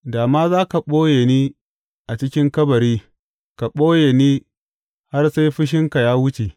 Da ma za ka ɓoye ni a cikin kabari ka ɓoye ni har sai fushinka ya wuce!